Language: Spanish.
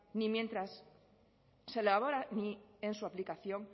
ni mientras se elabora ni en su aplicación